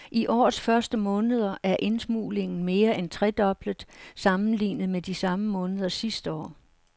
I årets første måneder er indsmuglingen mere end tredoblet sammenlignet med de samme måneder sidste år.